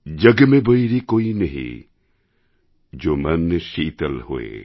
জগমে বৈরি কোঈ নেহি জো মন শীতল হোয়